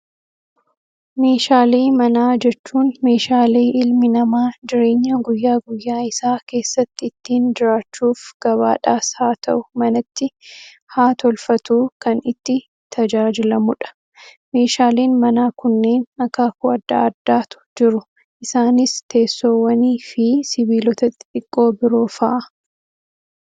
Meeshaalee manaa jechuun meeshaalee ilmi namaa jireenya guyyaa guyyaa isaa keessatti ittiin jiraachuuf gabaadhaas haa ta'uu manatti haa tolfatuu, kan itti tajaajilamudha. Meeshaaleen manaa kunneen akaakuu addaa addaatu jiru isaanis teessoowwan, fi sibiilota xixiqqoo biroo fa'aa.